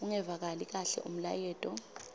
ungevakali kahle umlayeto